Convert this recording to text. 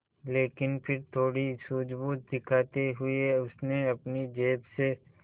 लेकिन फिर थोड़ी सूझबूझ दिखाते हुए उसने अपनी जेब से